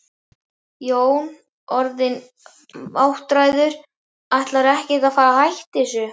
Jón: Orðinn áttræður, ætlarðu ekkert að fara að hætta þessu?